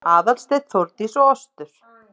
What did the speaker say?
Aðalsteinn, Þórdís og Ostur